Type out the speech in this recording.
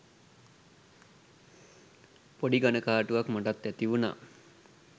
පොඩි කනගාටුවක් මටත් ඇතිවුණා.